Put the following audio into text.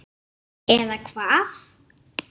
Hringi svo aftur.